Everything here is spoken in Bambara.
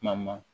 Kuma ma